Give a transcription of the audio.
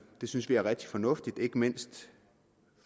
synes vi er rigtig fornuftigt ikke mindst